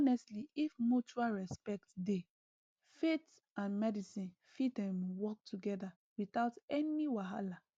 honestly if mutual respect dey faith and medicine fit ehm work together without any wahala